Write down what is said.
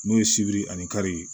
N'o ye sibiri ani kari ye